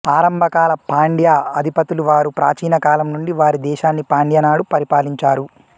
ఆరంభకాల పాండ్య అధిపతులు వారు ప్రాచీన కాలం నుండి వారి దేశాన్ని పాండ్య నాడు పరిపాలించారు